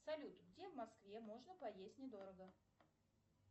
салют где в москве можно поесть недорого